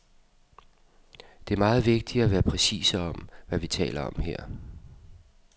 Det er meget vigtigt at være præcise om, hvad vi taler om her.